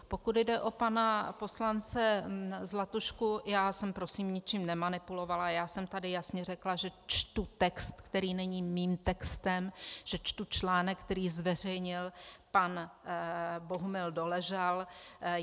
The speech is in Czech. Pokud jde o pana poslance Zlatušku, já jsem prosím ničím nemanipulovala, já jsem tady jasně řekla, že čtu text, který není mým textem, že čtu článek, který zveřejnil pan Bohumil Doležal.